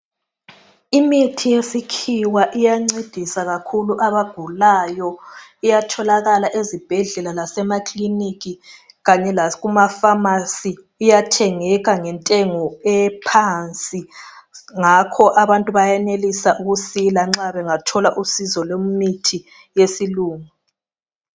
imithi yesikhiwa iyencedisa kakhulu abagulayo iyatholakala ezibhedlela lase makiliniki kany lakuma phamarcy iyathengeka ngentengo ephansi ngakho abantu bayenelisa ukusila nxa bengathola usizolwemithi yesilungu